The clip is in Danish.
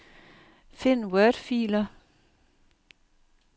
Find wordfiler.